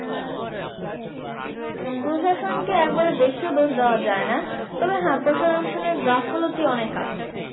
প্রশাসনকে একবারে বেশিও দোষ দেওয়া যায় না। তবে হ্যাঁ প্রশাসনের গাফিলতি অনেক আছে।